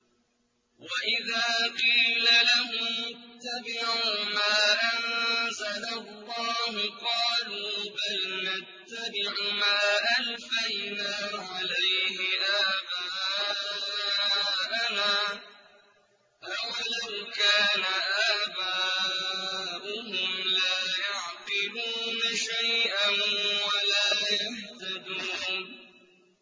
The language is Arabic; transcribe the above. وَإِذَا قِيلَ لَهُمُ اتَّبِعُوا مَا أَنزَلَ اللَّهُ قَالُوا بَلْ نَتَّبِعُ مَا أَلْفَيْنَا عَلَيْهِ آبَاءَنَا ۗ أَوَلَوْ كَانَ آبَاؤُهُمْ لَا يَعْقِلُونَ شَيْئًا وَلَا يَهْتَدُونَ